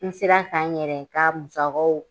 N sera ka n yɛrɛ ka musakaw